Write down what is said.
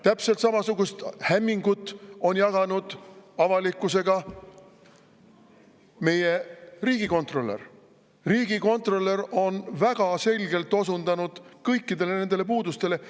Täpselt samasugust hämmingut on jaganud avalikkusega meie riigikontrolör, kes on väga selgelt osundanud kõikidele nendele puudustele.